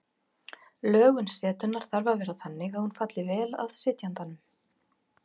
Lögun setunnar þarf að vera þannig að hún falli vel að sitjandanum.